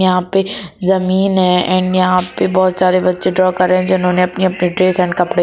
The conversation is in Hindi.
यहां पे जमीन है एंड यहां पे बहुत सारे बच्चे ड्रा कर रहे हैंजिन्होंने अपनी अपनी ड्रेस एंड कपड़े--